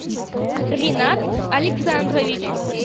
ринат александрович